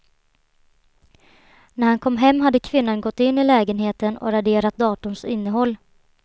När han kom hem hade kvinnan gått in i lägenheten och raderat datorns innehåll.